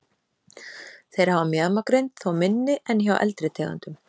Þeir hafa mjaðmagrind, þó minni en hjá eldri tegundum.